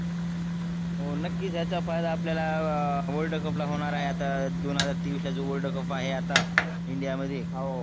हो नक्कीच ज्याच्या फायदा आपल्या world cup होणार आहे आता दोन हजार तेविष ला जो world cup आहे आता india मध्ये